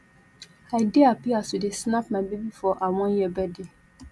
i dey hapi as we dey snap my baby for her one year birthday